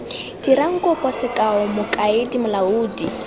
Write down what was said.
dirang kopo sekao mokaedi molaodi